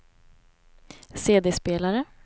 CD-spelare